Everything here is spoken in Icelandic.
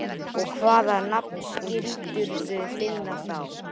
Og hvaða nafn skildirðu finna þá?